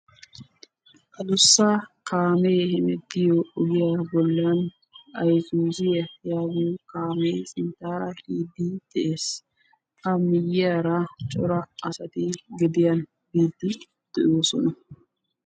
Adussa kaame hemettiya ogiya bolla isuziya giyo biide de'ees a matan asay gediyan biide de'ees.